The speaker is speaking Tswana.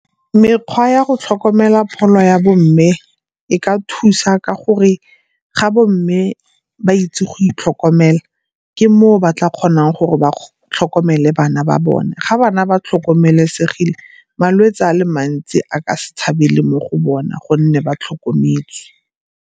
Mekgwa ya go tlhokomela pholo ya bo mme e ka thusa ka gore ga bo mme ba itse go itlhokomela, ke moo ba tla kgonang gore ba tlhokomele bana ba bone. Ga bana ba tlhokomelesegile malwetsi a le mantsi a ka se tshabele mo go bona gonne ba tlhokometswe.